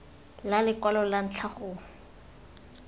la lekwalo la ntlha go